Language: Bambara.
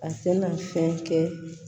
A tɛna fɛn kɛ